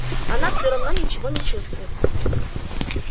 она всё равно ничего не чувствует